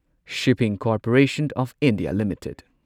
shipping corporation of India limited